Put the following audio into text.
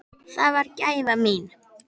Það varð gæfa mín.